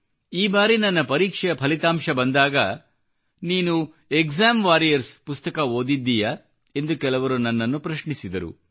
ಈ ಬಾರಿ ನನ್ನ ಪರೀಕ್ಷೆಯ ಫಲಿತಾಂಶ ಬಂದಾಗ ನೀನು ಎಕ್ಸಾಮ್ ವಾರಿಯರ್ಸ್ ಪುಸ್ತಕ ಓದಿದ್ದೀಯಾ ಎಂದು ಕೆಲವರು ನನ್ನನ್ನು ಪ್ರಶ್ನಿಸಿದರು